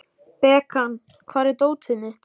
Bekan, hvar er dótið mitt?